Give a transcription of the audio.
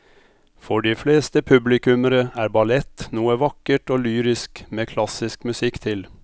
For de fleste publikummere er ballett noe vakkert og lyrisk med klassisk musikk til.